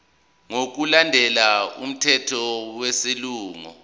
ngokulandela umthetho wesilungu